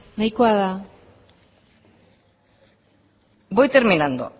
nahikoa da voy terminando